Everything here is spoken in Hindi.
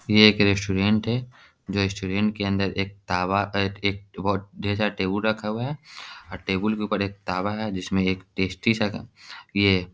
ये एक रेस्टुरेंट है जो ये रेस्टुरेंट के अंदर एक तावा एक ढेर सारा टेबुल रखा हुआ है और टेबुल के ऊपर एक तावा है जिसमें एक टेस्टी सा ये --